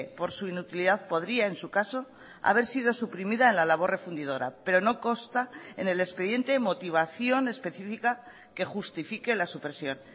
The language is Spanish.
por su inutilidad podría en su caso haber sido suprimida en la labor refundidora pero no consta en el expediente motivación específica que justifique la supresión